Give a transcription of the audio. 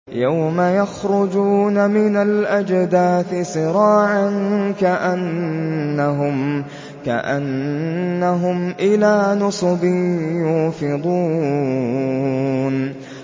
يَوْمَ يَخْرُجُونَ مِنَ الْأَجْدَاثِ سِرَاعًا كَأَنَّهُمْ إِلَىٰ نُصُبٍ يُوفِضُونَ